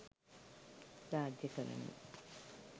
රාජ්‍යකරණය